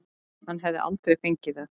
Hann hefði aldrei fengið það.